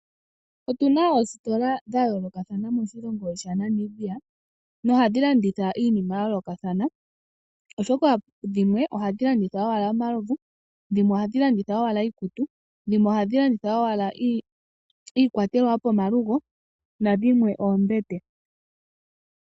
Otuna oositola dha yoolokothana moshilongo shaNamibia mohadhi landitha iinima yayoolokothana oshoka dhimwe ohadhi landitha owala omalovu, iikutu, iikwatelwa yopomalugo nadhimwe oombete.